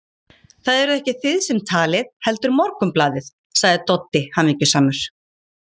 Það eruð ekki þið sem talið, heldur Morgunblaðið, sagði Doddi hamingjusamur.